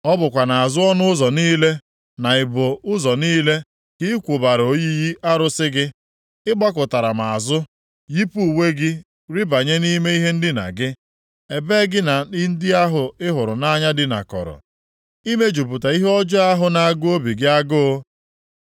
Ọ bụkwa nʼazụ ọnụ ụzọ niile, na ibo ụzọ niile, ka ị kwụbara oyiyi arụsị gị. Ị gbakụtara m azụ, yipụ uwe gị rịbanye nʼime ihe ndina gị, ebe gị na ndị ahụ ị hụrụ nʼanya dinakọrọ, imejupụta ihe ọjọọ ahụ na-agụ obi gị agụụ.